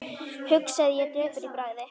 hugsaði ég döpur í bragði.